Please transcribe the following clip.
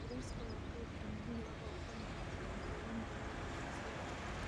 Bariiska waa qayb muhiim ah oo ka mid ah cuntooyin badan oo Aasiya ah.